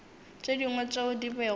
tše dingwe tšeo di bego